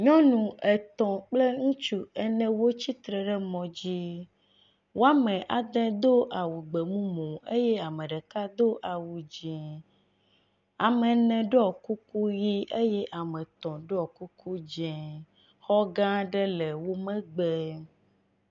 nyɔnu etɔ̃ kple ŋutsu ene wó tsítre ɖe mɔdzi woame adē dó awu gbemumu eye ameɖeka dó awu dzĩ, ame ene ɖɔ kuku yi eye ame etɔ̃ ɖɔ kuku dzɛ̃, xɔgã aɖe le wó megbe